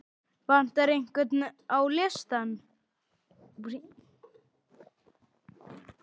Vantar einhvern á listann?